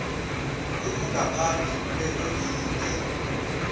olungaphambi kwe holide